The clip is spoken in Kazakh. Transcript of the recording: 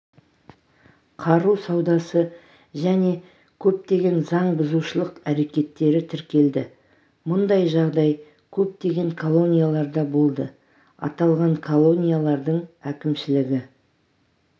қару саудасы және көптеген заңбұзушылық әрекеттері тіркелді мұндай жағдай көптеген колонияларда болды аталған колониялардың әкімшілігі